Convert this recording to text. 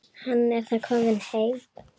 Hann er þó kominn heim.